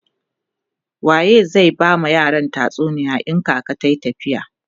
waye zai ta ba yaran tatsuniya in kaka tayi tafiya?